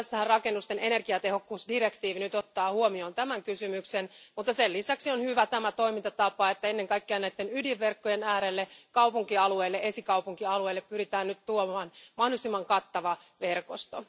Rakennusten energiatehokkuusdirektiivissähän otetaan tämä kysymys nyt huomioon, mutta sen lisäksi on hyvä toimintatapa, että ennen kaikkea näiden ydinverkkojen äärelle, kaupunkialueille ja esikaupunkialueille pyritään nyt tuomaan mahdollisimman kattava verkosto.